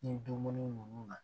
Ni dumuni nunnu na